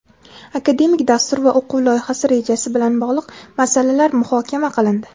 akademik dastur va o‘quv loyihasi rejasi bilan bog‘liq masalalar muhokama qilindi.